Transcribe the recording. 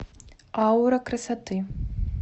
аура красоты